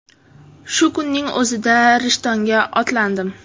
Shu kunning o‘zida Rishtonga otlandim.